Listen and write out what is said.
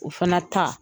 O fana ta